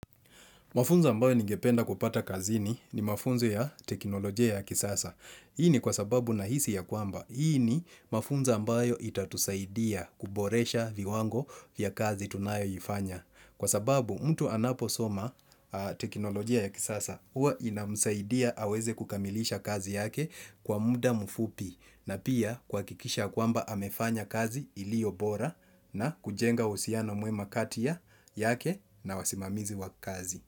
Mafunzo ambayo ningependa kupata kazini ni mafunzo ya teknolojia ya kisasa. Hii ni kwa sababu nahisi ya kwamba. Hii ni mafunza ambayo itatusaidia kuboresha viwango vya kazi tunayo ifanya. Kwa sababu mtu anaposoma teknolojia ya kisasa, huwa inamsaidia aweze kukamilisha kazi yake kwa muda mfupi. Na pia kuhakikisha kwamba amefanya kazi iliyo bora na kujenga uhusiano mwema kati yake na wasimamizi wa kazi.